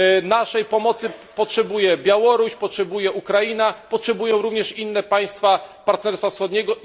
Naszej pomocy potrzebuje Białoruś, Ukraina, potrzebują jej również inne państwa Partnerstwa Wschodniego.